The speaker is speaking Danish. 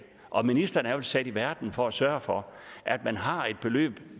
og ministeren er vel sat i verden for at sørge for at man har et beløb